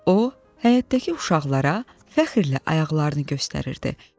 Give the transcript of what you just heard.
O, həyətdəki uşaqlara fəxrlə ayaqlarını göstərirdi.